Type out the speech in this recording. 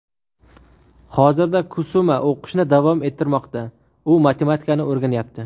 Hozirda Kusuma o‘qishni davom ettirmoqda: u matematikani o‘rganyapti.